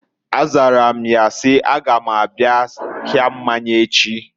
A zara m ya si, "A ga m abịa ahịa mmanya echi."